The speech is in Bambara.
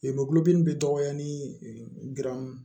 Lemurudimi bi dɔgɔya ni